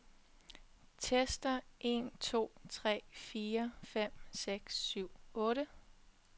Tester en to tre fire fem seks syv otte.